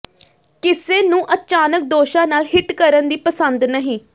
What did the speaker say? ਕਿਸੇ ਨੂੰ ਅਚਾਨਕ ਦੋਸ਼ਾਂ ਨਾਲ ਹਿੱਟ ਕਰਨ ਦੀ ਪਸੰਦ ਨਹੀਂ